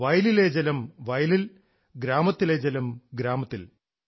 വയലിലെ ജലം വയലിൽ ഗ്രാമത്തിലെ ജലം ഗ്രാമത്തിൽ